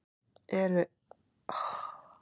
Ertu eitthvað að missa tökin?